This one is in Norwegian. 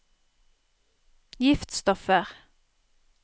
giftstoffer